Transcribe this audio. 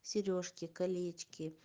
серёжки колечки